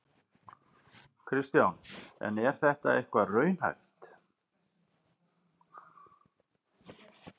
Kristján: En er þetta eitthvað raunhæft?